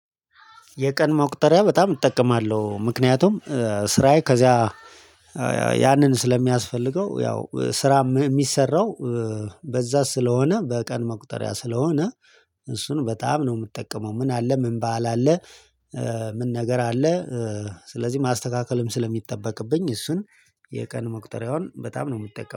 የቀን መቁጠሪያ በጣም እጠቀማለሁ። ምክንያቱም ስራዬ ከዚያ ያንን ስለሚያስፈልገው ያው ስራ ም የሚሰራው በዛ ስለሆነ በቀን መቁጠሪያ ስለሆነ እሱን በጣም ነው የምትጠቀመው። ምን አለ ምን በዓል አለ? ምን ነገር አለ? ስለዚህ ማስተካከልም ስለሚጠበቅብኝ እሱን የቀን መቁጠሪያውን በጣም ነው የምጠቀመው